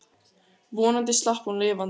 Vonandi slapp hún lifandi.